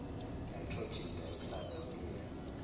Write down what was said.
nitrogen dioxide nomlilo